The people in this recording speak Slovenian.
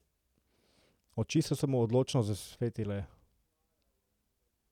Oči so se mu odločno zasvetile.